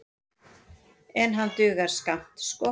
En hann dugar skammt sko.